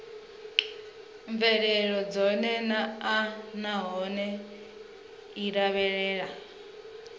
mvelelo dzone naanahone i lavhelela